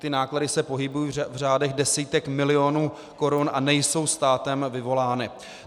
Ty náklady se pohybují v řádech desítek milionů korun a nejsou státem vyvolány.